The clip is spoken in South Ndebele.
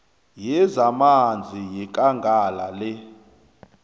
yezamanzi yekangala le